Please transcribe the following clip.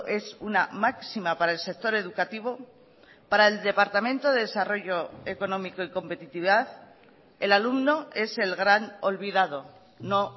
es una máxima para el sector educativo para el departamento de desarrollo económico y competitividad el alumno es el gran olvidado no